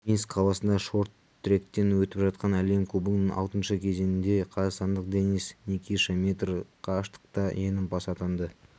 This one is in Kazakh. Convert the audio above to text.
минск қаласында шорт-тректен өтіп жатқан әлем кубогының алтыншы кезеңінде қазақстандық денис никиша метр қашықтықта жеңімпаз атанды